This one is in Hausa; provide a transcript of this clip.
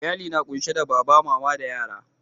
Iyalli na kunsi da baba, mama da yara.